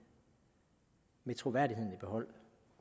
med troværdigheden i behold